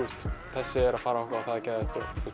þessi er að fara á eitthvað og það er geðveikt